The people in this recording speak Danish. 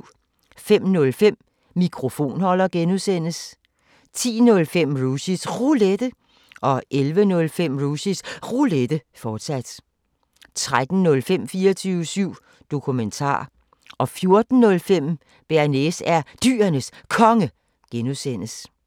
05:05: Mikrofonholder (G) 10:05: Rushys Roulette 11:05: Rushys Roulette, fortsat 13:05: 24syv Dokumentar 14:05: Bearnaise er Dyrenes Konge (G)